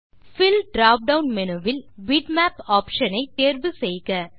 bill drop down menu வில் bitmap optionஐ தேர்வு செய்க